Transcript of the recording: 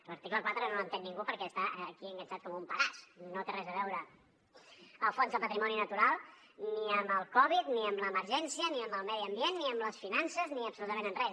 l’article quatre no l’entén ningú perquè està aquí enganxat com un pedaç no té res a veure el fons del patrimoni natural ni amb el covid ni amb l’emergència ni amb el medi ambient ni amb les finances ni absolutament amb res